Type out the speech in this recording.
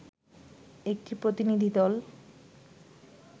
একটি প্রতিনিধিদল